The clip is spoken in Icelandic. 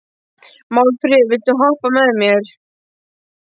Málfríður, viltu hoppa með mér?